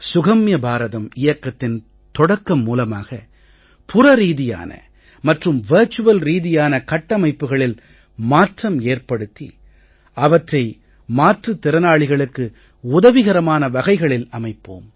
சுகம்ய பாரதம் இயக்கத்தின் தொடக்கம் மூலமாக புற ரீதியான மற்றும் வர்ச்சுவல் ரீதியான கட்டமைப்புக்களில் மாற்றம் ஏற்படுத்தி அவற்றை மாற்றுத் திறனாளிகளுக்கு உதவிகரமான வகைகளில் அமைப்போம்